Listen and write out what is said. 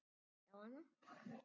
Glápir á hana.